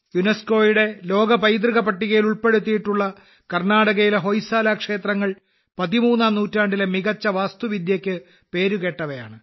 യുനെസ്കോയുടെ ലോക പൈതൃക പട്ടികയിൽ ഉൾപ്പെടുത്തിയിട്ടുള്ള കർണാടകയിലെ ഹൊയ്സാല ക്ഷേത്രങ്ങൾ പതിമൂന്നാം നൂറ്റാണ്ടിലെ മികച്ച വാസ്തുവിദ്യയ്ക്ക് പേരുകേട്ടവയാണ്